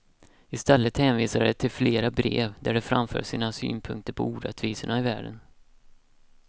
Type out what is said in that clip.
Istället hänvisar de till flera brev där de framför sina synpunkter på orättvisorna i världen.